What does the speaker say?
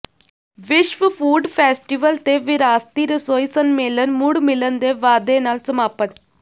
ਵਿਸ਼ਵ food festival ਤੇ ਵਿਰਾਸਤੀ ਰਸੋਈ ਸੰਮੇਲਨ ਮੁੜ ਮਿਲਣ ਦੇ ਵਾਅਦੇ ਨਾਲ ਸਮਾਪਤ